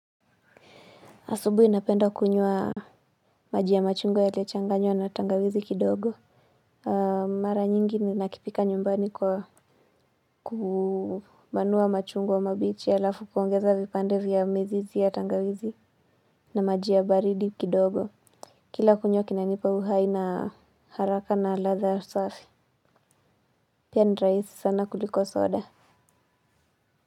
Asubuhi napenda kunywa maji ya machungwa yaliyochanganywa na tangawizi kidogo. Mara nyingi ninakipika nyumbani kwa kumanua machungwa mabichi alafu kuongeza vipande vya mizizi ya tangawizi na maji ya baridi kidogo. Kila kunywa kinanipa uhai na haraka na ladha safi. Pia ni rahisi sana kuliko soda.